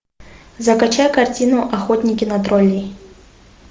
закачай картину охотники на троллей